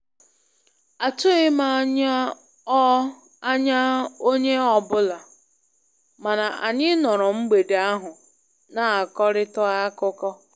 Atughị m anya onye ọ anya onye ọ bụla, mana anyị nọrọ mgbede ahụ na-akọrịta akụkọ.